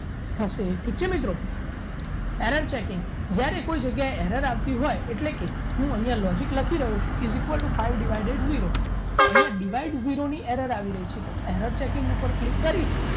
થશે ઠીક છે મિત્રો error checking જ્યારે કોઈ જગ્યાએ error આવતી હોય એટલે કે હું અહીંયા logic લખી રહ્યો છું is equal to five divided zero તો અહીંયા divided zero ની error આવી રહી છે તો error checking ઉપર click કરીશ